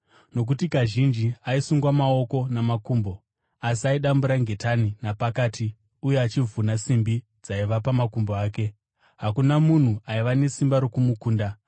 Nokuti kazhinji aisungwa maoko namakumbo, asi aidambura ngetani napakati uye achivhuna simbi dzaiva pamakumbo ake. Hakuna munhu aiva nesimba rokumukunda.